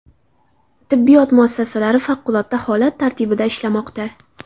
Tibbiyot muassasalari favqulodda holat tartibida ishlamoqda.